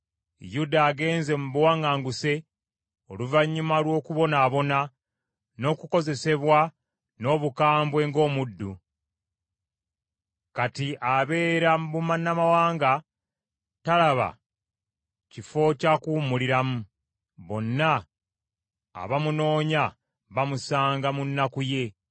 Yuda agenze mu buwaŋŋanguse oluvannyuma lw’okubonaabona n’okukozesebwa n’obukambwe ng’omuddu. Kati abeera mu bannamawanga, talaba kifo kya kuwummuliramu. Bonna abamunoonya bamusanga mu nnaku ye.